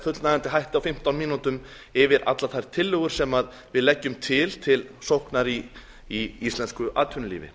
fullnægjandi hætti á fimmtán mínútum yfir allar þær tillögur sem við leggjum til til sóknar í íslensku atvinnulífi